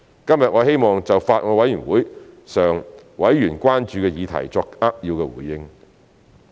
今天我希望就法案委員會上委員關注的議題作扼要回應。